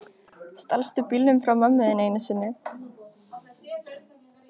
Stalstu bílnum frá mömmu þinni enn einu sinni?